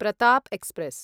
Pratap express